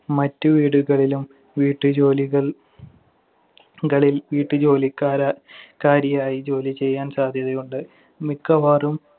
മറ്റ് വീടുകളിലും വീട്ടുജോലികൾ~ കളില്‍ വീട്ടുജോലിക്കാരാ~ ക്കാരിയായി ജോലിചെയ്യാൻ സാധ്യതയുണ്ട്. മിക്കവാറും